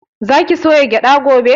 Za ki soya gyaɗa gobe?